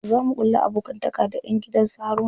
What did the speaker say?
Za mu ƙulla abokantaka da ƴan gidan su Haruna.